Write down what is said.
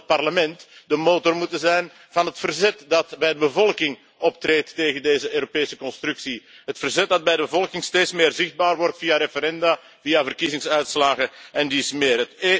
Normaal zou het Parlement de motor moeten zijn van het verzet dat bij de bevolking optreedt tegen deze Europese constructie, het verzet dat bij de bevolking steeds meer zichtbaar wordt via referenda, via verkiezingsuitslagen en dies meer.